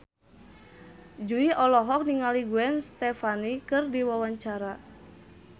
Jui olohok ningali Gwen Stefani keur diwawancara